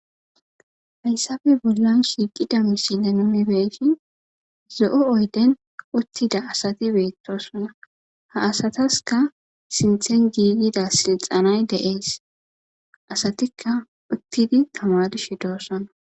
Hayssafe bollon shiiqida misile numibeyshin zo7o oyden uttida asati beettosona ha asataska sinthen giigida silxanay de7ees asatikka uttidi tamadishe doossona.